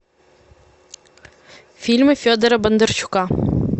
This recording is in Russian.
фильмы федора бондарчука